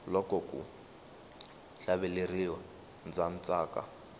loko ku hlaveleriwa ndza tsaka